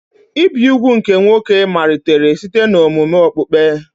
Ibi úgwù nke nwoke malitere site n'omume okpukpe.